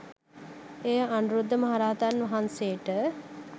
එය අනුරුද්ධ මහරහතන් වහන්සේට